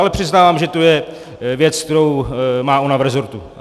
Ale přiznávám, že to je věc, kterou má ona v resortu.